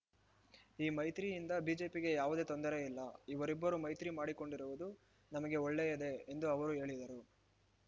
ಈ ಮೈತ್ರಿಯಿಂದ ಬಿಜೆಪಿಗೆ ಯಾವುದೇ ತೊಂದರೆ ಇಲ್ಲ ಇವರಿಬ್ಬರೂ ಮೈತ್ರಿ ಮಾಡಿಕೊಂಡಿರುವುದು ನಮಗೆ ಒಳ್ಳೆಯದೇ ಎಂದು ಅವರು ಹೇಳಿದರು